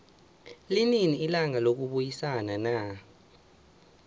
linini ilanga lokubayisana na